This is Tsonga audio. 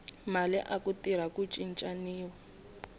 mali aku tirha ku cincaniwa